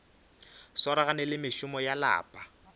swaragane le mešomo ya lapa